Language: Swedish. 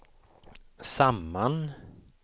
samman